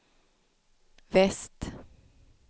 väst